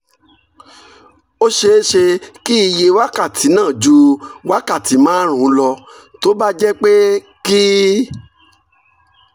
ó ṣeé ṣe kí iye wákàtí náà ju wákàtí márùn-ún lọ tó bá jẹ́ pé kì